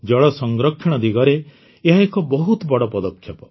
ଜଳ ସଂରକ୍ଷଣ ଦିଗରେ ଏହା ଏକ ବହୁତ ବଡ଼ ପଦକ୍ଷେପ